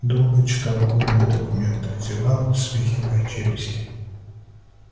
долго читал колины документы зевал свихивая челюсти